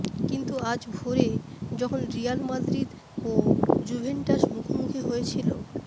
কিন্তু আজ ভোরে যখন রিয়াল মাদ্রিদ ও জুভেন্টাস মুখোমুখি হয়েছিল